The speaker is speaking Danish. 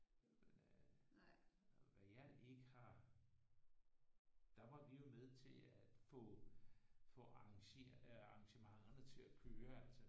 Hvad jeg ikke har der var vi jo med til at få få få arrangementerne til at køre altså